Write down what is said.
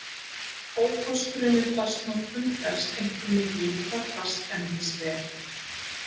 Ókosturinn við plastnotkun felst einkum í því hvað plast endist vel.